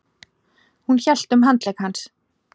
Hún hélt um handlegg hans.